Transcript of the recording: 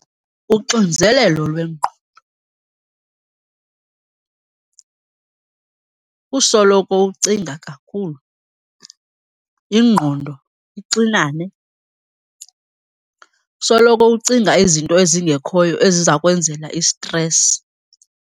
Uxinzelelo lwengqondo kusoloko ucinga kakhulu, ingqondo ixinane. Usoloko ucinga izinto ezingekhoyo eziza kwenzela isitresi.